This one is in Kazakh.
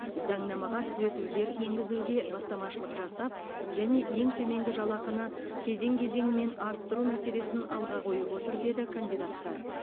заңнамаға түзетулер енгізуге бастамашылық жасап және ең төменгі жалақыны кезең кезеңімен арттыру мәселесін алға қойып отыр деді кандидаттар